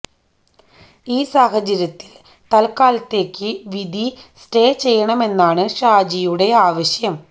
ഈ സാഹചര്യത്തിൽ തൽക്കാലത്തേയ്ക്ക് വിധി സ്റ്റേ ചെയ്യണമെന്നാണ് ഷാജിയുടെ ആവശ്യം